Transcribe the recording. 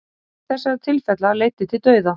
eitt þessara tilfella leiddi til dauða